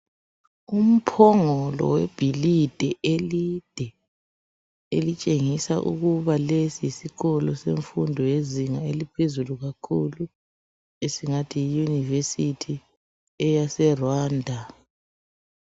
Umphongolo webhilidi elide, elitshengisa ukuba lesi yisikolo semfundo yezinga eliphezulu kakhulu. Esingathi yi university..EyaseRwanda.